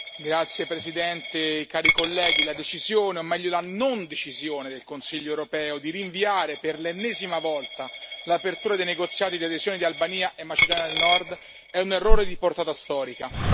Signora Presidente, onorevoli colleghi, la decisione, o meglio, la non decisione del Consiglio europeo di rinviare per l'ennesima volta l'apertura dei negoziati di adesione di Albania e Macedonia del Nord è un errore di portata storica.